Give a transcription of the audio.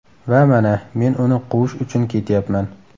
Va mana, men uni quvish uchun ketyapman.